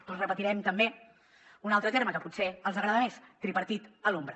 doncs repetirem també un altre terme que potser els agrada més tripartit a l’ombra